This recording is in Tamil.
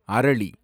அரளி